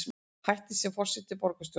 Hættir sem forseti borgarstjórnar